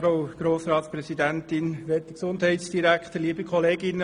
Kommissionspräsident der GSoK.